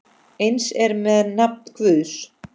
Eins er með nafn Guðs.